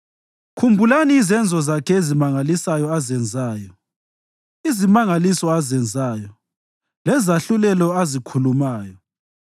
Khumbulani izenzo zakhe ezimangalisayo azenzayo, izimangaliso azenzayo, lezahlulelo azikhulumayo,